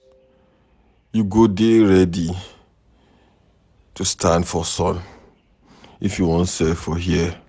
You go dey ready to stand for sun if you wan sell for here.